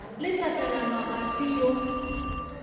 le tatalona ga se yo